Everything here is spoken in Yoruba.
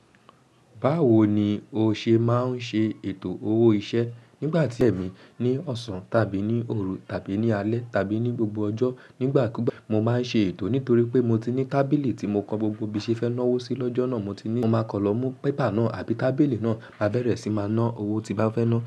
Báwo ni o ṣe máa ń ṣe ètò owó iṣẹ́ nígbà tí ẹ̀mí ní ọ̀sán tàbí ní òru tàbí ní alẹ́ tàbí ní gbogbo ọjọ́ nígbà kú gbà. Mo máa ń ṣe ètò nítorí pé mo ti ní tábìlì tí mo kọ gbogbo bí ṣe fẹ́ ná owó sí lọ́jọ́ náà. Mo ti ní, mo máa kọ lọ mú pépà náà àbí tábìlì náà, máa bẹ̀rẹ̀ sí máa ná owó tí bá fẹ́ náa.